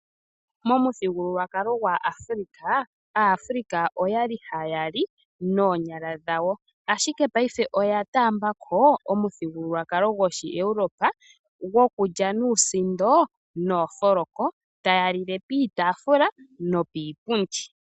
Momuthigululwakalo gwaAfulika, Aafulika okwali haya li noonyala dhawo ashike payife oya taambako omuthigululwakalo godhi Europe gwokulya nuusindo noofoloko taa lile piitafula nokiipundi.